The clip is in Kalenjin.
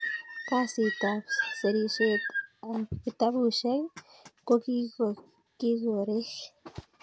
Kazit ab serishet ab kitabushek ko kikorek